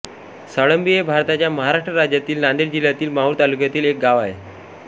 साळंबी हे भारताच्या महाराष्ट्र राज्यातील नांदेड जिल्ह्यातील माहूर तालुक्यातील एक गाव आहे